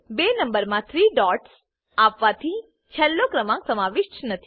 બે નંબરમા 3 ડોટ્સ આપવાથી છેલ્લો ક્રમાંક સમાવિષ્ટ નથી